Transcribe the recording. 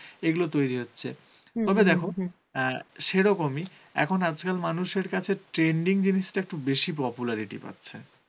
এগুলো তৈরি হচ্ছে তবে দেখো অ্যাঁ সেরকমই এখন আজকাল মানুষের কাছে trending জিনিসটা একটু বেশি popularity পাচ্ছে